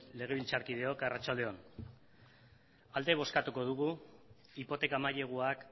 legebiltzarkideok arratsalde on alde bozkatuko dugu hipoteka maileguak